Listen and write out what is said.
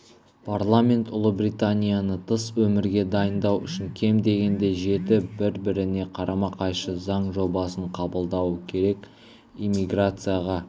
парламент ұлыбританияны тыс өмірге дайындау үшін кем дегенде жеті бір-біріне қарама-қайшы заң жобасын қабылдауы керек иммиграцияға